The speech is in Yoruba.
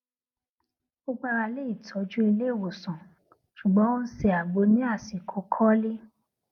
ó gbára lé ìtọjú ilé ìwòsàn ṣùgbọn ó n ṣe àgbo ní àsìkò kọlí